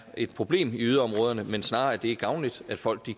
et problem i yderområderne men snarere at det er gavnligt at folk